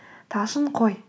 талшын қой